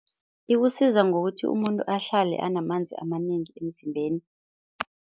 Ikusiza ngokuthi umuntu ahlale anamanzi amanengi emzimbeni.